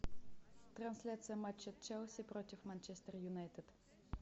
трансляция матча челси против манчестер юнайтед